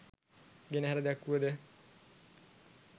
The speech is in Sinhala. ගෙනහැර දැක්වුවද